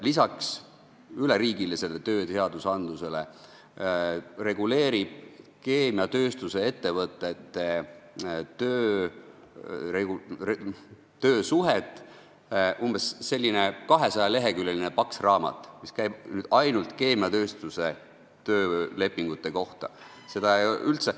Lisaks üleriigilistele tööseadustele reguleerib Hispaanias keemiatööstuse ettevõtete töösuhet umbes 200-leheküljeline paks raamat, mis käib ainult keemiatööstuse töölepingute kohta.